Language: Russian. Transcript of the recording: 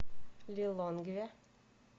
лилонгве